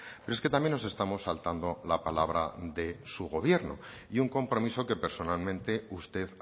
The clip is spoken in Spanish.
pero es que también nos estamos saltando la palabra de su gobierno y un compromiso que personalmente usted